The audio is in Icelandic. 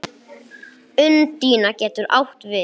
Undína getur átt við